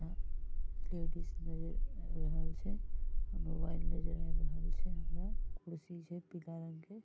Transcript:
ladies नजर आब रहल छै मोबाइल नजर आब रहल छै हमरा कुर्सी छै पीला रंग के --